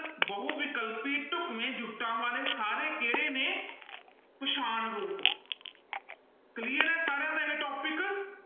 ਬਹੁ ਵਿਕਲਪੀ ਢੁੱਕਵੇਂ ਜੁੱਟਾਂ ਵਾਲੇ ਸਾਰੇ ਕਿਹੜੇ ਨੇ ਪਛਾਣ ਰੂਪ clear ਹੈ ਸਾਰਿਆਂ ਦਾ ਇਹ topic